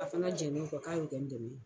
A fana jɛn n'o kɔ k'a y'o kɛ n dɛmɛ ye.